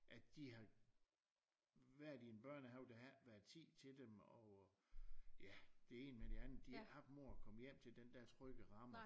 At de har været i en børnehave der har ikke været tid til dem og ja det ene med det andet de har ingen mor at komme hjem til den der trygge ramme